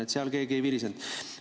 Ent selle pärast keegi ei virisenud.